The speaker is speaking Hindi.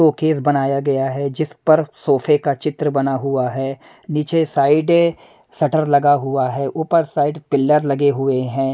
शोकेस बनाया गया है जिस पर सोफे का चित्र बना हुआ है नीचे साइड अ अ शटर लगा हुआ है ऊपर साइड पिलर लगे हुए हैं।